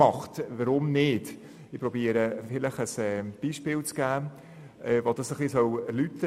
Ich versuche dies anhand eines Beispiels zu erläutern: